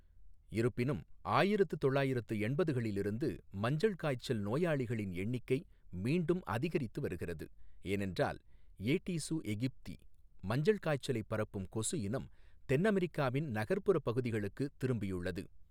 இருப்பினும், ஆயிரத்து தொள்ளாயிரத்து எண்பதுகளிலிருந்து, மஞ்சள் காய்ச்சல் நோயாளிகளின் எண்ணிக்கை மீண்டும் அதிகரித்து வருகிறது, ஏனென்றால் ஏடீசு எகிப்தி, மஞ்சள் காய்ச்சலைப் பரப்பும் கொசு இனம், தென் அமெரிக்காவின் நகர்ப்புறப் பகுதிகளுக்கு திரும்பியுள்ளது.